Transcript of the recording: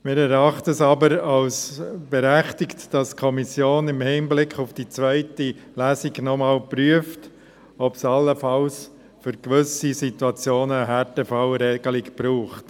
Wir erachten es jedoch als berechtigt, dass die Kommission im Hinblick auf die zweite Lesung noch einmal prüft, ob es allenfalls für gewisse Situationen eine Härtefallregelung braucht.